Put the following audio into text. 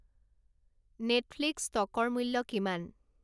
Netflix ষ্টকৰ মূল্য কিমান